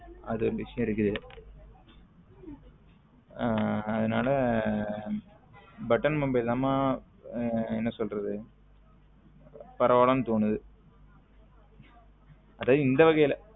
அது ஒரு விசையம் இருக்கு அதுனால button mobile தான் மா என்ன சொல்ல்றது பரவாலைன்னு தோனுது அது இந்த வகைல